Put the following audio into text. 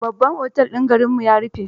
Babban otel din garinmu ya rufe.